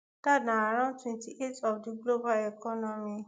dat na around twenty-eight of of di global economy